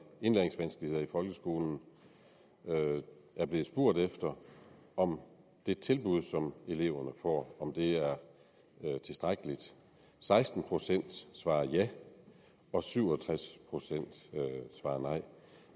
indlæringsvanskeligheder i folkeskolen er blevet spurgt om det tilbud som eleverne får er tilstrækkeligt seksten procent svarede ja og syv og tres procent svarede nej